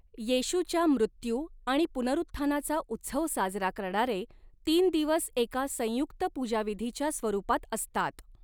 येशूच्या मृत्यू आणि पुनरुत्थानाचा उत्सव साजरा करणारे तीन दिवस एका संयुक्त पूजाविधीच्या स्वरूपात असतात.